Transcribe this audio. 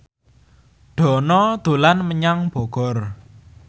Dono dolan menyang Bogor